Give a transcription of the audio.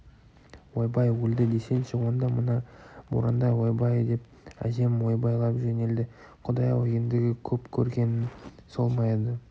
ойбай өлді десеңші онда мына боранда ойбай деп әжем ойбайлай жөнелді құдай-ау ендігі көп көргенің сол ма еді